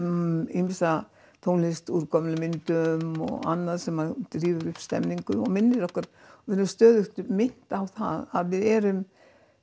ýmsa tónlist úr gömlum myndum og annað sem rífur upp stemningu og minnir okkur við erum stöðugt minnt á það að við erum